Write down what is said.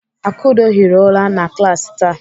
Akudo hiri ụra na klaasị taa.